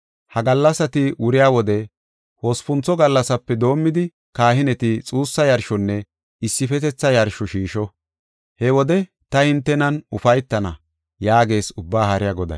Ha gallasati wuriya wode, hospuntho gallasaape doomidi, kahineti xuussa yarshonne issifetetha yarsho shiisho. He wode ta hintenan ufaytana” yaagees Ubbaa Haariya Goday.